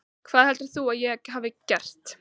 Hvað heldur þú að ég hafi gert?